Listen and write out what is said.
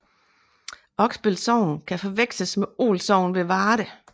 Oksbøl Sogn kan forveksles med Ål Sogn ved Varde